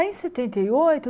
Aí em setenta e oito